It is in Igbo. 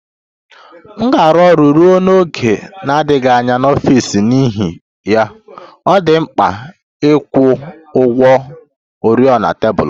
M ga-arụ ọrụ ruo n'oge na-adịghị anya n'ọfịs n'ihi ya, ọ dị m mkpa ịkwụ ụgwọ oriọna tebụl m